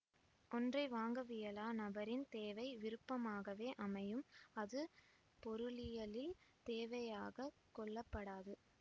ஒன்றை வாங்கவியலா நபரின் தேவை விருப்பமாகவே அமையும் அது பொருளியலில் தேவையாகக் கொள்ளப்படாது